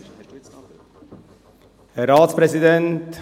Ich gebe dem Antragsteller Jürg Iseli das Wort.